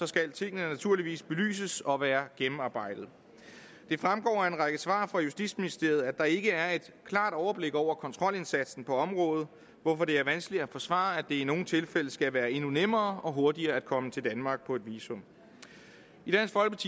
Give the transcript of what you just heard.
skal tingene naturligvis belyses og være gennemarbejdet det fremgår af en række svar fra justitsministeriet at der ikke er et klart overblik over kontrolindsatsen på området hvorfor det er vanskeligt at forsvare at det i nogle tilfælde skal være endnu nemmere og hurtigere komme til danmark på et visum